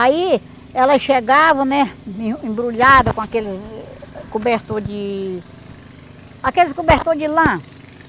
Aí, elas chegavam, né, em embrulhada com aqueles cobertor de... Aqueles cobertor de lã.